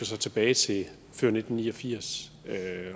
sig tilbage til før nitten ni og firs